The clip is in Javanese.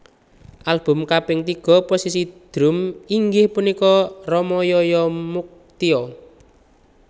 Album kaping tiga posisi drum inggih punika Rama Yaya Muktio